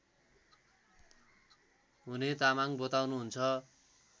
हुने तामाङ बताउनुहुन्छ